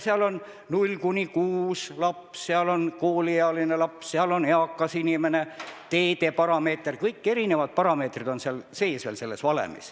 Seal on 0–6 aasta vanuses laps, seal on kooliealine laps, seal on eakas inimene, teedeparameeter – erinevad parameetrid on seal valemis sees.